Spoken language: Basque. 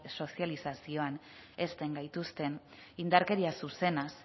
sozializazioan hezten gaituzten indarkeria zuzenaz